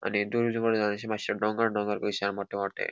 आणि मात्शे डोंगर डोंगर कशे हा मोठे मोठे.